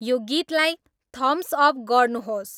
यो गीतलाई thumbs up गर्नुहोस्